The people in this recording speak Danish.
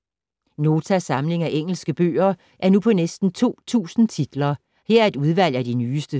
Notas samling af engelske bøger er nu på næsten 2000 titler. Her er et udvalg af de nyeste.